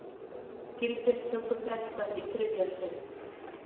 Gildistöku frestað í þriðja sinn